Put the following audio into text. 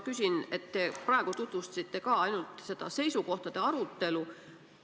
Ka praegu tutvustasite te ainult seisukohtade arutelu.